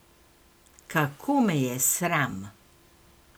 Kako me je sram!